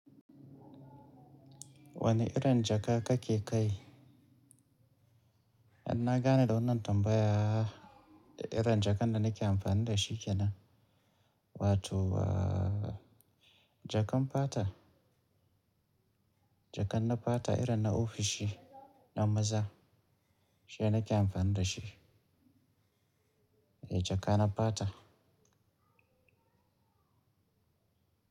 Wane irin jaka kake kai? Na gane da wannan tambaya da irin jakan da nake amfani da shi kenan. Wato jakan fata, jakan na fata irin na ofishi na maza, shine nake amfani da shi. Eh jaka na fata.